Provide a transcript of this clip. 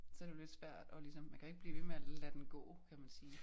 Så det jo lidt svært og ligesom man kan jo ikke blive ved med at lade den gå kan man sige